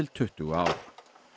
tuttugu ár